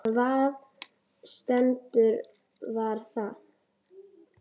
Hvaða setning var það?